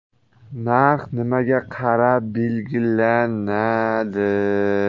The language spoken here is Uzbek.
Narx nimaga qarab belgilanadi?